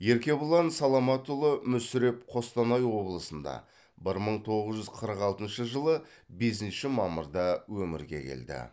еркебұлан саламатұлы мүсіреп қостанай облысында бір мың тоғыз жүз қырық алтыншы жылы бесінші мамырда өмірге келді